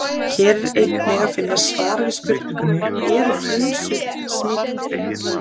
Hér er einnig að finna svar við spurningunni: Eru frunsur smitandi?